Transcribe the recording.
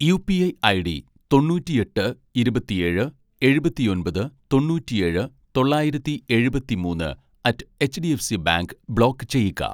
UPI ID തൊണ്ണൂറ്റിയെട്ട് ഇരുപത്തിയേഴ് എഴുപത്തിയൊൻപത്‌ തൊണ്ണൂറ്റിയേഴ് തൊള്ളായിരത്തി എഴുപത്തിമൂന്ന്‌ അറ്റ്‌ എച്ഡിഎഫ്സി ബാങ്ക് ബ്ലോക്ക് ചെയ്യുക